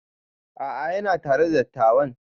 A'a yana tare da dattawan